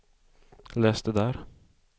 läs det där